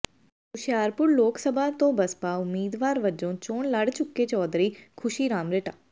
ਹੁਸ਼ਿਆਰਪੁਰ ਲੋਕ ਸਭਾ ਤੋਂ ਬਸਪਾ ਉਮੀਦਵਾਰ ਵੱਜੋ ਚੋਣ ਲੜ ਚੁੱਕੇ ਚੌਧਰੀ ਖੁਸ਼ੀ ਰਾਮ ਰਿਟਾ